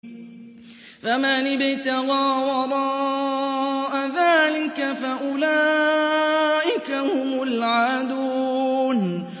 فَمَنِ ابْتَغَىٰ وَرَاءَ ذَٰلِكَ فَأُولَٰئِكَ هُمُ الْعَادُونَ